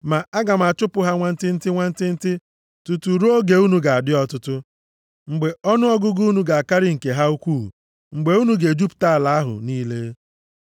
Ma aga m achụpụ ha nwantịntị nwantịntị, tutu ruo oge unu ga-adị ọtụtụ, mgbe ọnụọgụgụ unu ga-akarị nke ha ukwuu, mgbe unu ga-ejupụta ala ahụ niile.